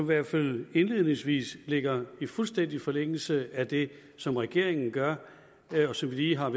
hvert fald indledningsvis ligger i fuldstændig forlængelse af det som regeringen gør og som vi lige har